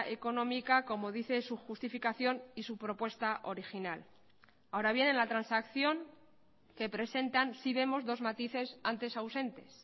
económica como dice su justificación y su propuesta original ahora bien en la transacción que presentan sí vemos dos matices antes ausentes